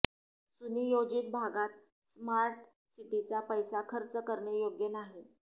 सुनियोजित भागात स्मार्ट सिटीचा पैसा खर्च करणे योग्य नाही